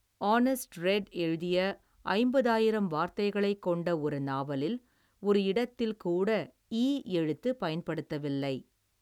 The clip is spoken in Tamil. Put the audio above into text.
ஆநெஸ்ட் ரெட் எழுதிய, ஐம்பது ஆயிரம் வார்த்தைகளைக் கொண்ட ஒரு நாவலில், ஒரு இடத்தில் கூட ஈ எழுத்து பயன்படுத்தவில்லை.